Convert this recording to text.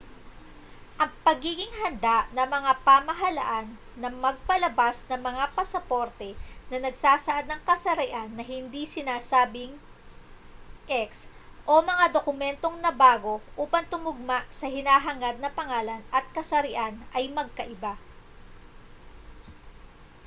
ang pagiging handa ng mga pamahalaan na magpalabas ng mga pasaporte na nagsasaad ng kasarian na hindi sinasabing x o mga dokumentong nabago upang tumugma sa hinahangad na pangalan at kasarian ay magkaiba